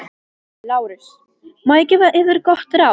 LÁRUS: Má ég gefa yður gott ráð?